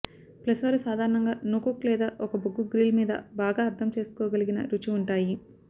plus వారు సాధారణంగా no cook లేదా ఒక బొగ్గు గ్రిల్ మీద బాగా అర్థం చేసుకోగలిగిన రుచి ఉంటాయి